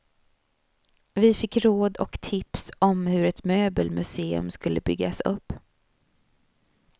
Vi fick råd och tips om hur ett möbelmuseum skulle byggas upp.